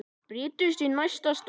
Bryndís í næstu stofu!